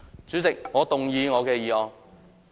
主席，我動議我的議案。